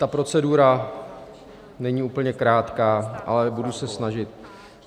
Ta procedura není úplně krátká, ale budu se snažit.